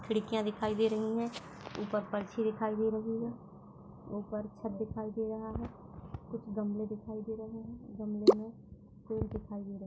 खिड़कियाँ दिखाई दे रही हैं। ऊपर परछी दिखाई दे रही है। ऊपर छत दिखाई दे रहा है। कुछ गमले दिखाई दे रहे है। गमले में फुल दिखाई दे रहे हैं।